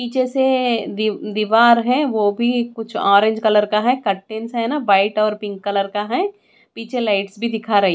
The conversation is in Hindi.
पीछे से दी दीवार है वो भी कुछ ऑरेंज कलर का है कर्टेंस है न व्हाईट और पिंक कलर का हैं पीछे लाईट्स भी दिखा रही--